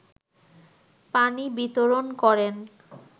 পানি বিতরণ করেন